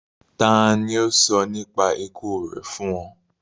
Tàni o sọ nípa iku rẹ fun ọ?